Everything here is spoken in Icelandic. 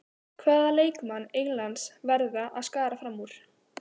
Hvaða leikmann Englands verða að skara fram úr?